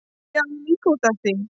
Já, líka út af því.